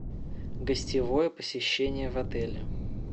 гостевое посещение в отеле